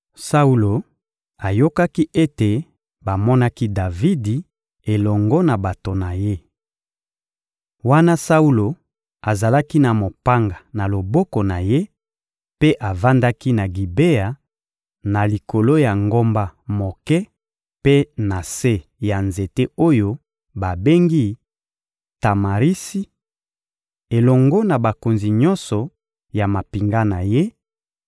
Saulo ayokaki ete bamonaki Davidi elongo na bato na ye. Wana Saulo azalaki na mopanga na loboko na ye mpe avandaki na Gibea, na likolo ya ngomba moke mpe na se ya nzete oyo babengi «Tamarisi» elongo na bakonzi nyonso ya mampinga na ye,